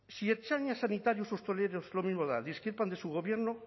si ertzainas sanitarios u hosteleros lo mismo da discrepan de su gobierno